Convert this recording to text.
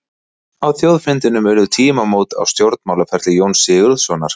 Á þjóðfundinum urðu tímamót á stjórnmálaferli Jóns Sigurðssonar.